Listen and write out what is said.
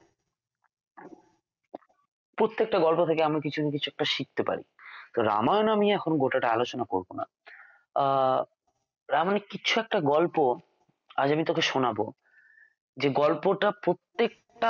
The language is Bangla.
প্রত্যেকটা গল্প থেকে আমি কিছু না কিছু একটা শিখতে পারি রামায়ণ আমি এখন গোটাটা আলোচনা করব না আহ রামায়ণ এর কিছু একটা গল্প আজ আমি তোকে শোনাব যে গল্পটা প্রত্যেকটা